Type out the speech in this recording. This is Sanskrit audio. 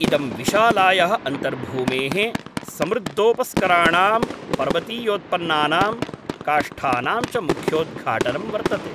इदं विशालायाः अन्तर्भूमेः समृद्दोपस्कराणां, पर्वतीयोत्पन्नानां, काष्ठानां च मुख्योद्घाटनं वर्तते।